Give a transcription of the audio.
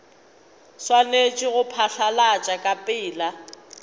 swanetše go phatlalatšwa ka pela